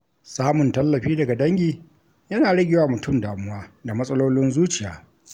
Samun tallafi daga dangi yana rage wa mutum damuwa da matsalolin zuciya.